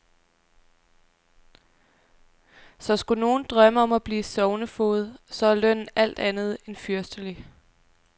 Så skulle nogen drømme om at blive sognefoged, så er lønnen alt andet end fyrstelig.